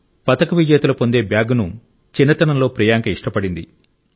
పతక విజేతలు పొందే బ్యాగ్ను చిన్నతనంలో ప్రియాంక ఇష్టపడింది